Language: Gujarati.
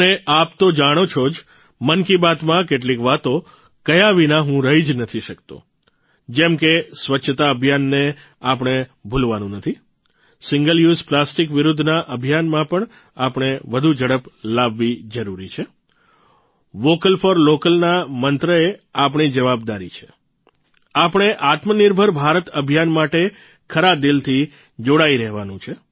અને આપ તો જાણો છો જ મન કી બાતમાં કેટલીક વાતો કહ્યા વિના હું રહી જ નથી શકતો જેમ કે સ્વચ્છતા અભિયાનને આપણે ભૂલવાનું નથી સિંગલ યુઝ પ્લાસ્ટીક વિરૂદ્ધના અભિયાનમાં આપણે વધુ ઝડપ લાવવી જરૂરી છે વોકલ ફોર લોકલ ના મંત્ર એ આપણી જવાબદારી છે આપણે આત્મનિર્ભર ભારત અભિયાન માટે ખરા દિલથી જોડાઇ રહેવાનું છે